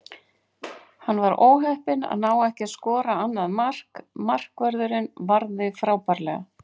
Hann var óheppinn að ná ekki að skora annað mark, markvörðurinn varði frábærlega.